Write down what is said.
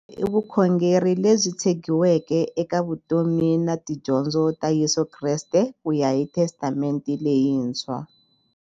I vukhongeri lebyi tshegiweke eka vutomi na tidyondzo ta Yesu Kreste kuya hi Testamente leyintshwa.